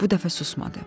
Bu dəfə susmadı.